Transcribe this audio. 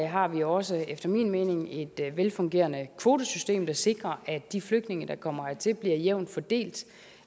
har vi også efter min mening et velfungerende kvotesystem der sikrer at de flygtninge der kommer hertil bliver jævnt fordelt